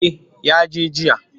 Eh ya je jiya.